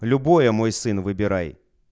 любое мой сын выбирай